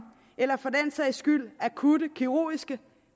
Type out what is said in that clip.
eller for den sags skyld akutte kirurgiske